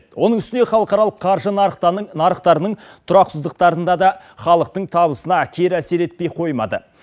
оның үстіне халықаралық қаржы нарықтарының тұрақсыздықтарында да халықтың табысына кері әсер етпей қоймады